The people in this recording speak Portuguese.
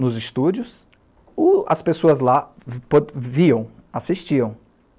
nos estúdios, ou as pessoas lá viam, assistiam.